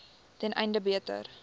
ten einde beter